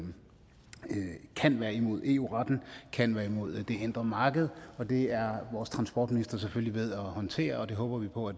kan være imod eu retten kan være imod det indre marked og det er vores transportminister selvfølgelig ved at håndtere og